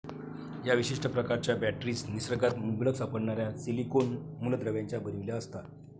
या विशिष्ट प्रकारच्या बॅटरीज निसर्गात मुबलक सापडणाऱ्या सिलीकोन मुलद्रव्यांच्या बनविल्या असता.